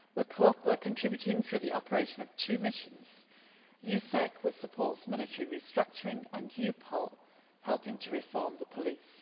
We are contributing through the operation of two missions EUSEC, which supports military restructuring, and EUPOL helping to reform the police.